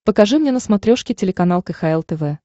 покажи мне на смотрешке телеканал кхл тв